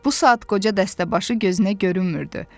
Bu saat qoca dəstəbaşı gözünə görünmürdü.